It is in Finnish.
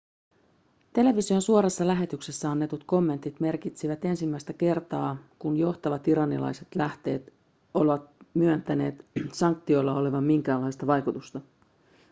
television suorassa lähetyksessä annetut kommentit merkitsivät ensimmäistä kertaa kun johtavat iranilaiset lähteet ovat myöntäneet sanktioilla olevan minkäänlaista vaikutusta